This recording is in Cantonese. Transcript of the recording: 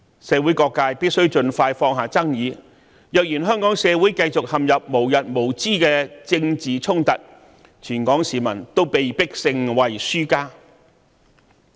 社會各界必須盡快放下爭議，因為香港社會若繼續陷入無日無之的政治衝突，全港市民也被迫成為輸家。